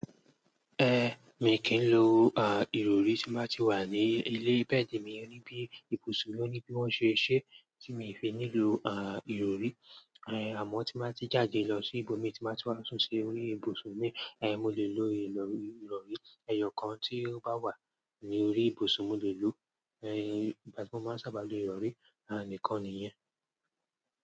Ehn, mi kì í lo, ìrọrí tí máa ti wà ní ilé bẹ́ẹ̀dì mi níbí ìbùsùn mi ó ní bí wọ́n ṣe ṣe tí mi fi nílò, ìrọrí. Àmọ́ tí máa ti jáde lọ sí ibòmí tí máa ti wá sún si orí ìbùsùn mi, mo lè lo ìrọrí. Ẹ̀yọ kan tí ó bá wà ní orí ìbùsùn mo lè lò ó. Igbà tí mo máa sábà lo ìrọrí, nìkan nìyen.